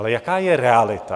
Ale jaká je realita?